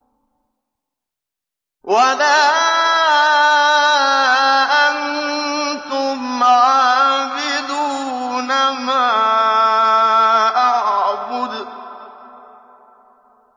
وَلَا أَنتُمْ عَابِدُونَ مَا أَعْبُدُ